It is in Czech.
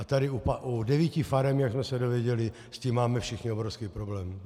A tady u devíti farem, jak jsme se dozvěděli, s tím máme všichni obrovský problém.